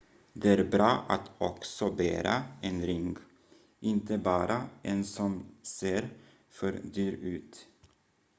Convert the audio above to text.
det är bra att också bära en ring inte bara en som ser för dyr ut